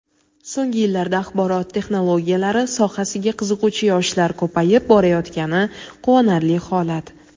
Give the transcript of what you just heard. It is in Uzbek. So‘nggi yillarda axborot texnologiyalari sohasiga qiziquvchi yoshlar ko‘payib borayotgani quvonarli holat.